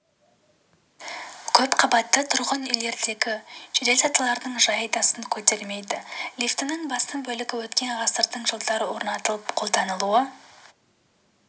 көпқабатты тұрғын үйлердегі жеделсатылардың жайы да сын көтермейді лифтінің басым бөлігі өткен ғасырдың жылдары орнатылыпты қолданылу